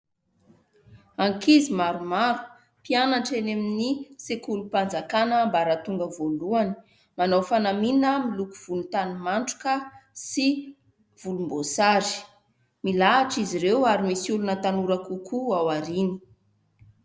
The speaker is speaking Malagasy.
Ankizy maromaro, mpianatra eny amin'ny sekolim-panjakàna ambaratonga voalohany. Manao fanamiana volontany matroka sy volomboasary. Milahatra izy ireo ary misy olona tanora kokoa ao aoriana.